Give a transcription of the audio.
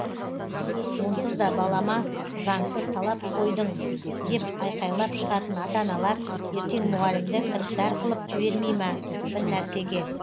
онсыз да балама заңсыз талап қойдың деп айқайлап шығатын ата аналар ертең мұғалімді кіріптар кылып жібермей ма бір нәрсеге